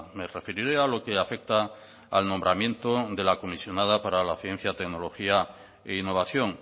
me referiré a lo que afecta al nombramiento de la comisionada para la ciencia tecnología e innovación